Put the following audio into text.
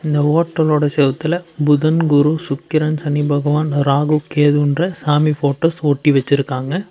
இந்த ஹோட்டலோட செவுத்துல புதன் குரு சுக்கிரன் சனி பகவான் ராகு கேதுன்ற சாமி போட்டோஸ் ஒட்டி வெச்சுருக்காங்க.